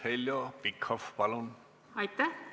Heljo Pikhof, palun!